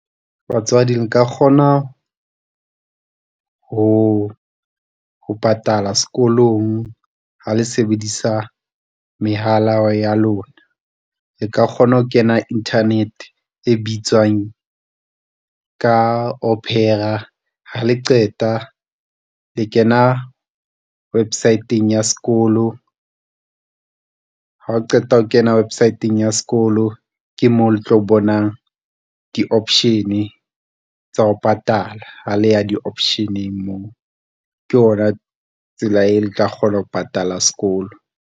Batswadi le kgona ho patala sekolong ha le sebedisa mehala ya lona. Le ka kgona ho kena Internet e bitswang ka opera ha le qeta le kena website-eng ya sekolo, ha o qeta ho kena website-eng ya sekolo. Ke mo le tlo bonang di option tsa ho patala ha le ya di option-eng moo, ke ona tsela eo le tla kgona ho patala sekolo.